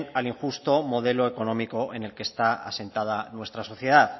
al injusto modelo económico en el que está asentada nuestra sociedad